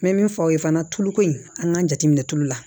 N bɛ min fɔ aw ye fana tuluko in an k'a jate tulu la